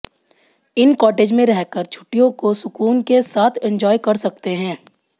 इन cottage में रहकर छुट्टियों को सुकून के साथ एंज्वॉय कर सकते हैं